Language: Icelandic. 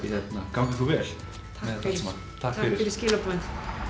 gangi ykkur vel takk fyrir skilaboðin